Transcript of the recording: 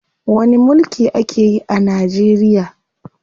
Wani mulki ake yi a Najeriya?